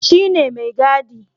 Shi ne maigadi.